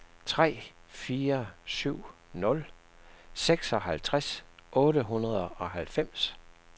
tre fire syv nul seksoghalvtreds otte hundrede og halvfems